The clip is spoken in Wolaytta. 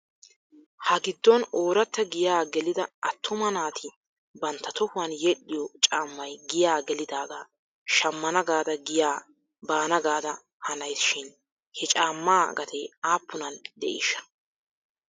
Ha giddon ooratta giyaa gelida attuma naati bantta tohuwan yedhdhiyoo caamay giyaa gelidaagaa shammana gaada giyaa baana gaada hanays shin he caammaa gatee aappunan de'iishsha?